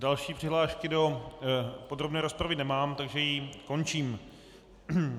Další přihlášky do podrobné rozpravy nemám, takže ji končím.